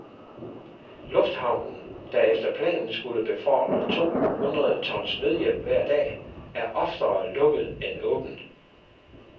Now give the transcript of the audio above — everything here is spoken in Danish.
Lufthavnen, der efter planen skulle befordre to hundrede tons nødhjælp hver dag, er oftere lukket end åben.